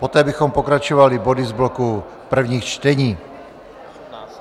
Poté bychom pokračovali body z bloku prvních čtení.